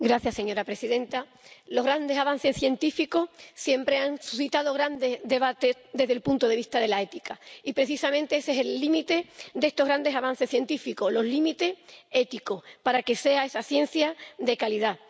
Señora presidenta, los grandes avances científicos siempre han suscitado grandes debates desde el punto de vista de la ética, y precisamente ese es el límite de estos grandes avances científicos, los límites éticos, para que sea una ciencia de calidad.